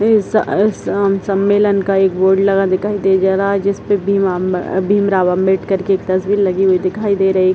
इस इस सम्मलेन का एक बोर्ड लगा दिखाई दे जा रहा है जिस पर भीम-भीमराव अंबेडकर की एक तस्वीर लगी हुई दिखाई दे रही।